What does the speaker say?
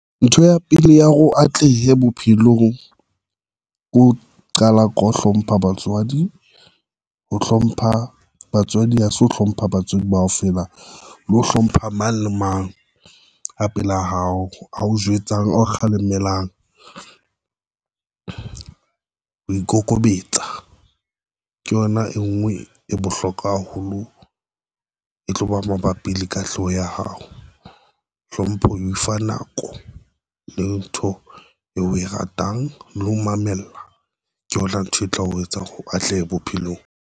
Ntho ya pele ya hore o atlehe bophelong ke ho qala ke o hlompha batswadi ho hlompha batswadi, ho se ho hlompha batswadi bao fela le ho hlompha mang le mang a pela hao ao jwetsang o kgalemelang ho ikokobetsa, ke yona e ngwe e bohlokwa haholo, e tloba mabapi le katleho ya hao, hlompho e fa nako le ntho e o e ratang le ho mamella ke hola, ntho e tla o etsa hore ho atleha bophelong.